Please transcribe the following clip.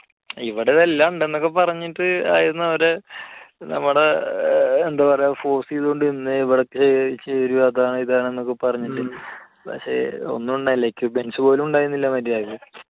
ഇവിടെ ഇത് എല്ലാം ഉണ്ട് എന്ന് പറഞ്ഞിട്ട് ഒക്കെ ആയിരുന്നു അവർ നമ്മളെ എന്ത് പറയുക force ചെയ്തുകൊണ്ടിരുന്നത്. ഇവിടെ ചേരൂ അതാണ് ഇതാണ് എന്നൊക്കെ പറഞ്ഞിട്ട്. പക്ഷെ ഒന്നും ഉണ്ടായില്ല equipments പോലുമുണ്ടായിരുന്നില്ല മര്യാദയ്ക്ക്.